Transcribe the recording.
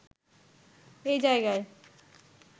এই জায়গায়